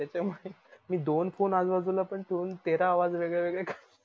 त्याच्यामुळे मी दोन phone आजू बाजूबाजूला पण ठेवून तेरा आवाज वेग वेगळे काढ